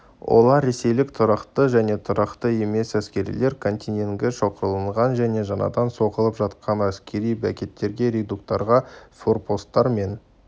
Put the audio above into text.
олар ресейлік тұрақты және тұрақты емес әскерилер контингенті шоғырланған және жаңадан соғылып жатқан әскери бекеттерге редуттарға форпосттар мен